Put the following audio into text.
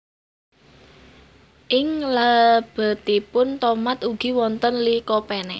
Ing lebetipun tomat ugi wonten Lycopene